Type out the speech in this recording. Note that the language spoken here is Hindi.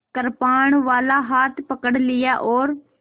कृपाणवाला हाथ पकड़ लिया और